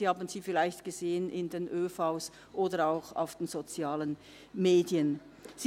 Sie haben sie vielleicht in den ÖV oder auch auf den Sozialen Medien gesehen.